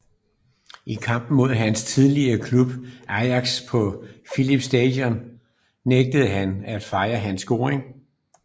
I kampen mod hans tidligere klub Ajax på Philips Stadion nægtede han at fejre sin scoring